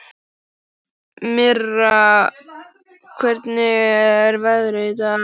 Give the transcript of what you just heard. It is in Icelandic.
Mirra, hvernig er veðrið í dag?